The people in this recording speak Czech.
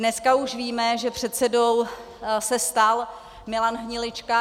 Dneska už víme, že předsedou se stal Milan Hnilička.